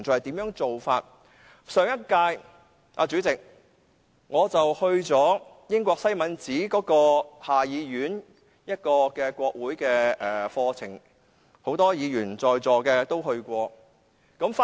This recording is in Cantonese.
主席，在上一屆立法會，我參加了英國下議院的國會課程，很多在座的議員也曾參加。